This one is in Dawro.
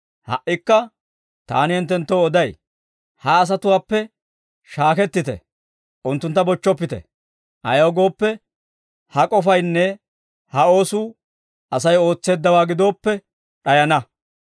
«Ha"ikka taani hinttenttoo oday; ha asatuwaappe shaakettite; unttuntta bochchoppite. Ayaw gooppe, ha k'ofaynne ha oosuu Asay ootseeddawaa gidooppe d'ayana.